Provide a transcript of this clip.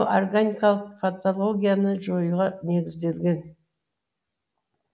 органикалық патологияны жоюға негізделген